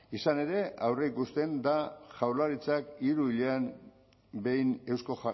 izan ere aurreikusten da jaurlaritzak hiru hilean behin eusko